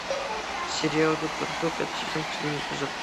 сериал доктор кто пятый сезон последний эпизод